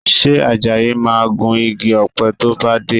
Ṣe Àjàyí máa gun igi ọ̀pẹ tó bá dé?